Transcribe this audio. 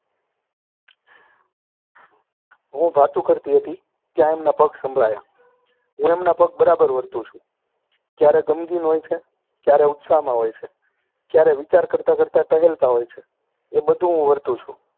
હું ભાતું કરતી હતી, ત્યાં એમના પગ સંભળાયા. હું એમના પગ બરાબર વરતું છું. ક્યારે ગમગીન હોય છે, ક્યારે ઉત્સાહમાં હોય છે, ક્યારે વિચાર કરતા કરતા ટહેલતા હોય છે, એ બધું હું વરતું છું.